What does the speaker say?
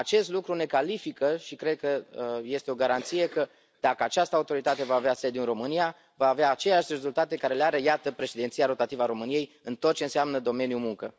Acest lucru ne califică și cred că este o garanție că, dacă această autoritate va avea sediul în România, va avea aceleași rezultate pe care le are, iată, președinția rotativă a României în tot ce înseamnă domeniul muncă.